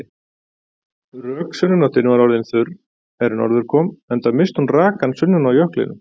Rök sunnanáttin var orðin þurr er norður kom enda missti hún rakann sunnan á jöklinum.